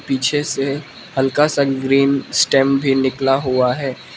पीछे से हल्का सा ग्रीन स्टेम भी निकला हुआ है।